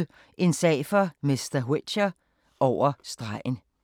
22:30: En sag for mr. Whicher: Over stregen